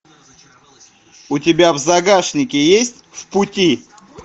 у тебя в загашнике есть в пути